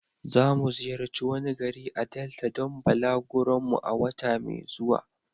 Zamu ziyarci wani gari a Delta don balaguron mu a wata mai zuwa.